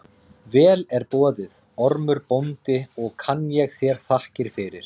Vel er boðið, Ormur bóndi, og kann ég þér þakkir fyrir.